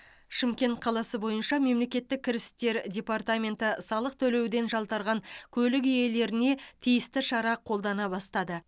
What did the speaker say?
шымкент қаласы бойынша мемлекеттік кірістер департаменті салық төлеуден жалтарған көлік иелеріне тиісті шара қолдана бастады